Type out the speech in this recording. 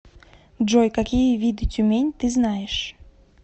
джой какие виды тюмень ты знаешь